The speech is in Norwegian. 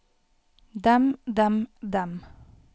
dem dem dem